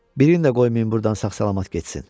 Birini də qoymayın burdan sağ-salamat getsin.